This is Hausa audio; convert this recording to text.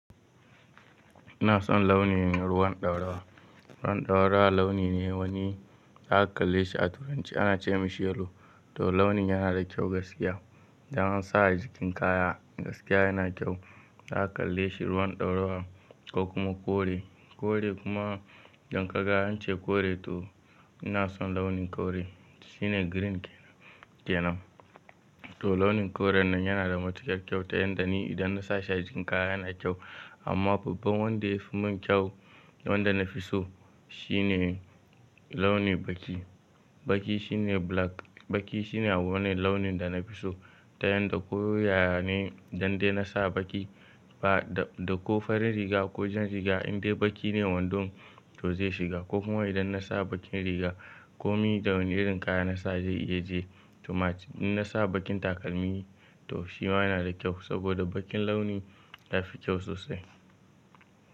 Ina son launin ruwan ɗaurawa. Ruwan ɗaurawa launi ne wani za ka kalle shi a turanci ana ce mashi yellow. To launin yana da kyau gaskiya. Idan an sa a jikin kaya gaskiya yana kyau. Za ka kalle shi ruwan ɗaurawa ko kuma kore. Kore kuma dan kaga an ce kore to ina son launin kore. Shine green kenan. To launin koren nan yana da matukar kyau ta yanda ni idan na sa shi a jikin kaya yana kyau. Amma babban wanda ya fi min kyau wanda na fi so shine launi baki. Baki shine black. Baki shine wani launin da na fi so ta yanda ko ya ne dan dai na sa baki ba da ko farin riga ko jan riga in dai baki ne wando to zai shiga ko kuma idan na sa bakin riga ko mi da wani irin kaya na sa zai iya je. To match in na sa bakin takalmi to shi ma yana da kyau saboda bakin launi yafi kyau sosai.